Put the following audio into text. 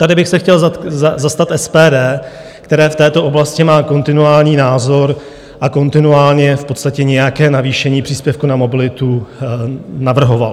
Tady bych se chtěl zastat SPD, které v této oblasti má kontinuální názor a kontinuálně v podstatě nějaké navýšení příspěvku na mobilitu navrhovalo.